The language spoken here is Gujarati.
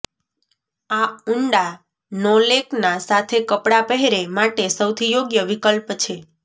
આ ઊંડા નોલેકના સાથે કપડાં પહેરે માટે સૌથી યોગ્ય વિકલ્પ છે